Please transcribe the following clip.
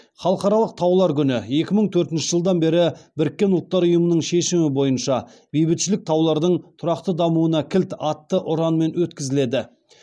халықаралық таулар күні екі мың төртінші жылдан бері біріккен ұлттар ұйымының шешімі бойынша бейбітшілік таулардың тұрақты дамуына кілт атты ұранмен өткізіледі